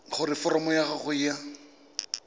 gore foromo ya gago ya